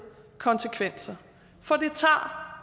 konsekvenser for det tager